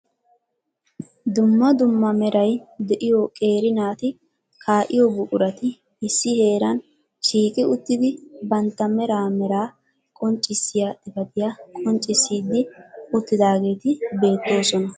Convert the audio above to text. Dumma dumma meray de'iyo qeeri naati kaa'iyoo buqurati issi heeran shiiqi uttidi bantta mera mera qonccissiya xifatiyaa qonccissidi uttidaageeti beettoosona.